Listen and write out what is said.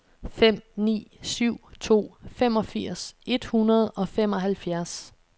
fem ni syv to femogfirs et hundrede og femoghalvfjerds